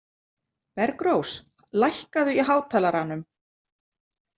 Bergrós, lækkaðu í hátalaranum.